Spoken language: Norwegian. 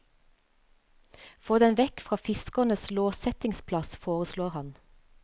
Få den vekk fra fiskernes låssettingsplass, foreslår han.